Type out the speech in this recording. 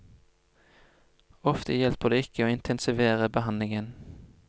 Ofte hjelper det ikke å intensivere behandlingen.